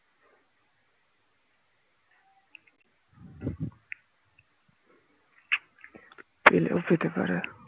পেলেও পেতে পারে